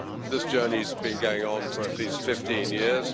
This journey has been going on for at least 15 years